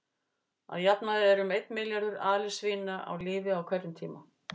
Að jafnaði eru um einn milljarður alisvína á lífi á hverjum tíma.